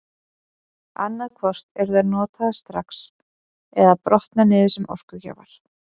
Annað hvort eru þær notaðar strax eða brotna niður sem orkugjafar.